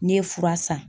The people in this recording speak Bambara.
N'i ye fura san